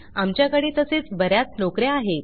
आमच्या कडे तसेच बऱ्याच नोकऱ्या आहेत